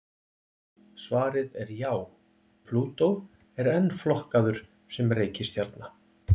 Svarið er já, Plútó er enn flokkaður sem reikistjarna.